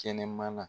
Kɛnɛmana